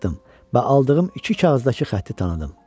Baxdım və aldığım iki kağızdakı xətti tanıdım.